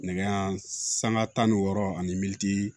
Nɛgɛ sanga tan ni wɔɔrɔ ani militi